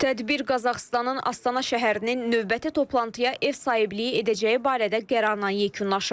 Tədbir Qazaxıstanın Astana şəhərinin növbəti toplantıya ev sahibliyi edəcəyi barədə qərarla yekunlaşıb.